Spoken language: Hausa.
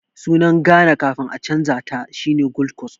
Sunar Ghana kafin a canja ta shine Gold Coast